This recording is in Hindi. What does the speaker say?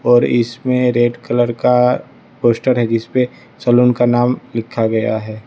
और इसमें रेड कलर का पोस्टर है जिसपे सलून का नाम लिखा गया है।